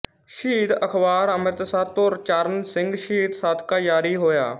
ਸ਼ਹੀਦ ਅਖਬਾਰ ਅੰਮ੍ਰਿਤਸਰ ਤੋਂ ਚਰਨ ਸਿੰਘ ਸ਼ਹੀਦ ਸਦਕਾ ਜਾਰੀ ਹੋਇਆ